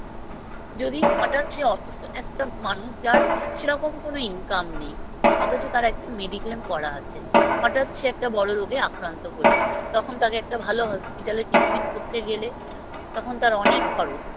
যদি হঠাৎ সে অসুস্থ একটা মানুষ যার সেরকম কোনো Income নেই অথচ তার একটা Mediclaim করা আছে হঠাৎ সে একটা বড় রোগে আক্রান্ত হলো তখন তাকে একটা ভালো Hospital এ Treatment করতে গেলে তখন তার অনেক খরচ